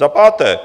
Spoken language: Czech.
Za páté.